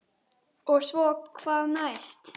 Og svo hvað næst?